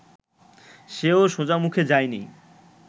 সেও সোজামুখে যায়নি